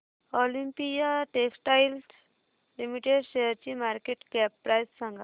Olympia textiles limited शेअरची market cap price सांगा